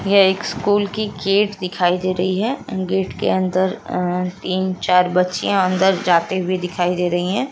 यह एक स्कूल की गेट दिखाई दे रही है गेट के अंदर अ तीन चार बच्चियाँ अंदर जाते हुए दिखाई दे रही हैं ।